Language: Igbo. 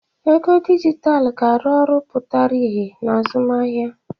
Ego dijitalụ ga-arụ ọrụ pụtara ìhè na azụmahịa.